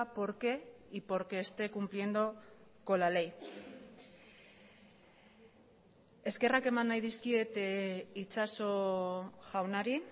por qué y porque esté cumpliendo con la ley eskerrak eman nahi dizkiet itxaso jaunari